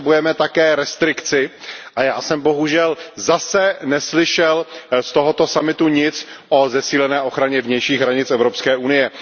Potřebujeme také restrikci, a já jsem bohužel zase neslyšel z tohoto summitu nic o zesílené ochraně vnějších hranic Evropské unie.